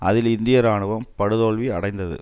அதில் இந்திய இராணுவம் படு தோல்வி அடைந்தது